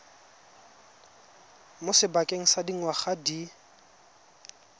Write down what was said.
mo sebakeng sa dingwaga di